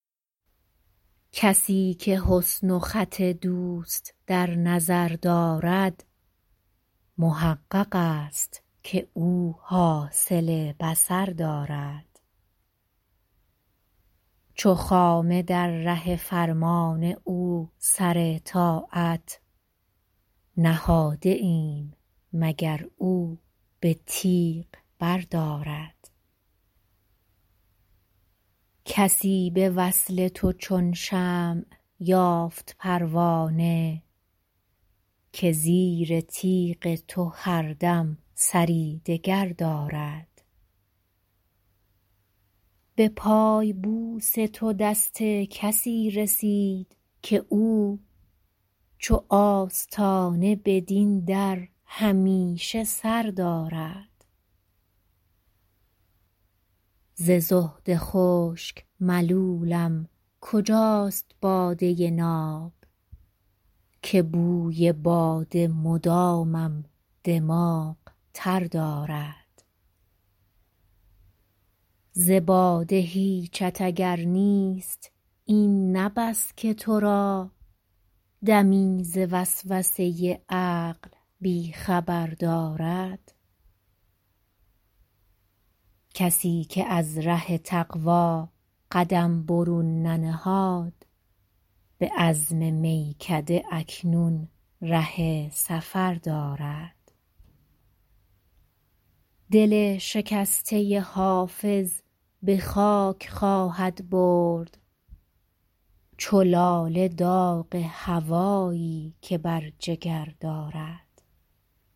کسی که حسن و خط دوست در نظر دارد محقق است که او حاصل بصر دارد چو خامه در ره فرمان او سر طاعت نهاده ایم مگر او به تیغ بردارد کسی به وصل تو چون شمع یافت پروانه که زیر تیغ تو هر دم سری دگر دارد به پای بوس تو دست کسی رسید که او چو آستانه بدین در همیشه سر دارد ز زهد خشک ملولم کجاست باده ناب که بوی باده مدامم دماغ تر دارد ز باده هیچت اگر نیست این نه بس که تو را دمی ز وسوسه عقل بی خبر دارد کسی که از ره تقوا قدم برون ننهاد به عزم میکده اکنون ره سفر دارد دل شکسته حافظ به خاک خواهد برد چو لاله داغ هوایی که بر جگر دارد